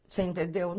Você entendeu?